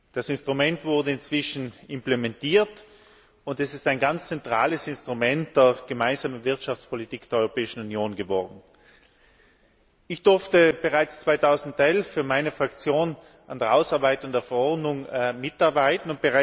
Das Instrument wurde inzwischen implementiert, und es ist ein ganz zentrales Instrument der gemeinsamen Wirtschaftspolitik der Europäischen Union geworden. Ich durfte bereits 2011 für meine Fraktion an der Ausarbeitung der Verordnung mitarbeiten.